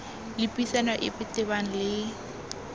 le puisano epe tebang le